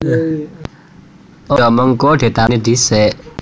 A Ya mengko ditalèni dhisik